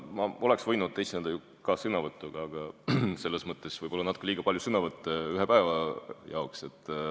Ma oleks võinud esineda ka ju sõnavõtuga, aga võib-olla oleks siis natuke liiga palju sõnavõtte ühe päeva jaoks.